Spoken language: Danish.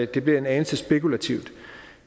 det bliver en anelse spekulativt